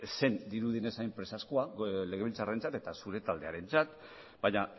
ez zen dirudienez hain presazkoa legebiltzarrarentzat eta zure taldearentzat baina